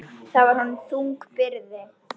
Það var honum þung byrði.